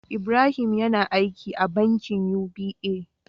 Ibrahim yAna aiki a bankin UBA